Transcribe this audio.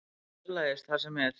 Hann fjarlægist það sem er.